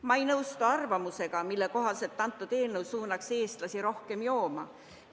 Ma ei nõustu arvamusega, et meie eelnõu suunab eestlasi rohkem jooma.